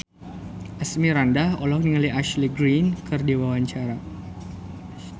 Asmirandah olohok ningali Ashley Greene keur diwawancara